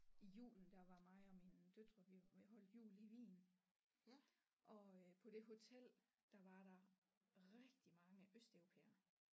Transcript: I julen der var mig og mine døtre vi vi holdte jul i Wien og øh på det hotel der var der rigtig mange østeuropæere